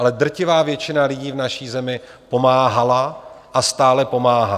Ale drtivá většina lidí v naší zemi pomáhala a stále pomáhá.